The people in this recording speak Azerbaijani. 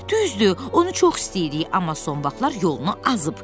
Düzdür, onu çox istəyirik, amma son vaxtlar yolunu azıb.